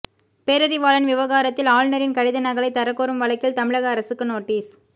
பேரறிவாளன் விவகாரத்தில் ஆளுநரின் கடித நகலை தரக்கோரும் வழக்கில் தமிழக அரசுக்கு நோட்டீஸ்